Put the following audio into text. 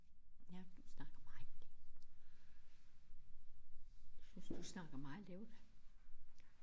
Ja du snakker meget synes du snakker meget lavt